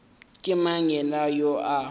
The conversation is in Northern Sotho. ke mang yena yoo a